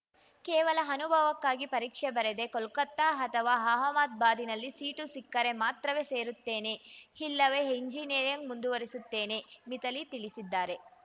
ಕೇವಲ ಅನುಭವಕ್ಕಾಗಿ ಪರೀಕ್ಷೆ ಬರೆದೆ ಕೋಲ್ಕತ್ತಾ ಅಥವಾ ಅಹಮದ್ ಬಾದ್‌ನಲ್ಲಿ ಸೀಟು ಸಿಕ್ಕರೆ ಮಾತ್ರವೇ ಸೇರುತ್ತೇನೆ ಇಲ್ಲವೇ ಎಂಜಿನಿಯರಿಂಗ್‌ ಮುಂದುವರಿಸುತ್ತೇನೆ ಮಿಥಾಲಿ ತಿಳಿಸಿದ್ದಾರೆ